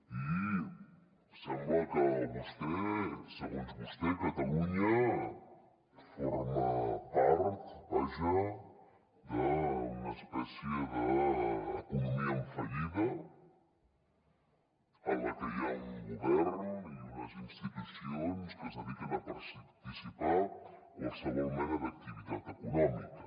i sembla que segons vostè catalunya forma part vaja d’una espècie d’economia en fallida en la que hi ha un govern i unes institucions que es dediquen a dissipar qualsevol mena d’activitat econòmica